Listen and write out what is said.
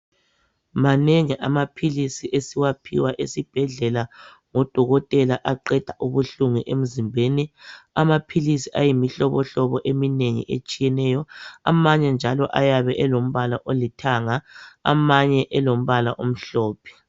Manengi amaphilisi esiwaphiwa esibhedlela ngodokotela aqeda ubuhlungu emzimbeni amaphilisi ayimihlobo hlobo eminengi etshiyeneyo amanye njalo ayabe elombala olithanga amanye elombala omhlophe.